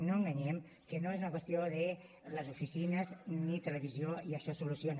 no enganyem que no és una qüestió de les oficines ni televisió i això es soluciona